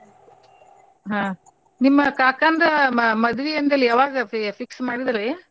ಹಾ. ನಿಮ್ಮ ಕಾಕಾಂದು ಮ~ ಮದ್ವಿ ಅಂದ್ಯಲ ಯಾವಾಗ ಫೀ~ fix ಮಾಡಿದ್ರೀ?